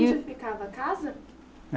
E. Onde ficava a casa? É.